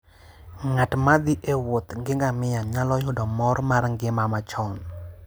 Ng'at ma thi e wuoth gi ngamia nyalo yudo mor mar ngima machon.